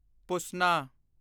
ਪੁਸਨਾ